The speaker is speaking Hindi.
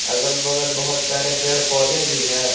अगल बगल बहुत सारे पेड़ पौधे भी है।